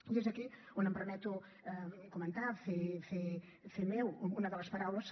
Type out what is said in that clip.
i és aquí on em permeto comentar fer meva una de les paraules